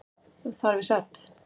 Þar við sat.